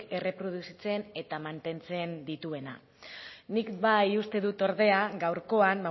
erreproduzitzen eta mantentzen dituena nik bai uste dut ordea gaurkoan